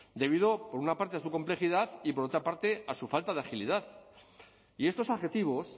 debido por una parte a su complejidad y por otra parte a su falta de agilidad y estos adjetivos